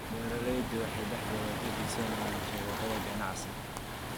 Beeraleydu waxay dhexdooda ka dhisayaan shabakado ganacsi.